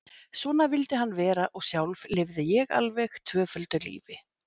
Svona vildi hann vera og sjálf lifði ég alveg tvöföldu lífi.